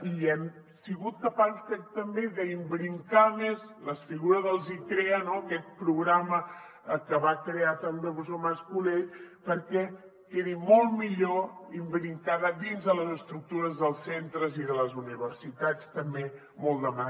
i hem sigut capaços crec també d’imbricar més la figura dels icrea aquest programa que va crear també el professor mas colell perquè quedi molt millor imbricada dins de les estructures dels centres i de les universitats també molt demanat